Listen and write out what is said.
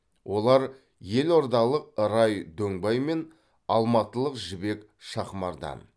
олар елордалық рай дөңбай мен алматылық жібек шахмардан